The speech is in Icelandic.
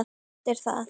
Eftir það